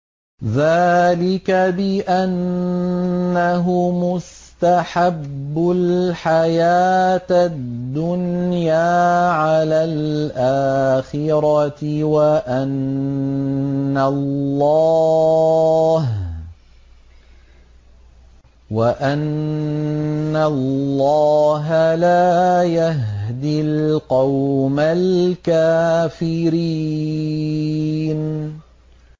ذَٰلِكَ بِأَنَّهُمُ اسْتَحَبُّوا الْحَيَاةَ الدُّنْيَا عَلَى الْآخِرَةِ وَأَنَّ اللَّهَ لَا يَهْدِي الْقَوْمَ الْكَافِرِينَ